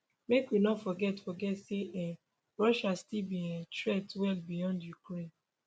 make we no forget forget say um russia still be um threat well beyond ukraine